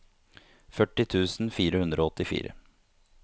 førti tusen fire hundre og åttifire